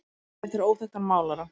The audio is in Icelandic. mynd eftir óþekktan málara